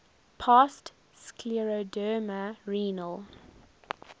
past scleroderma renal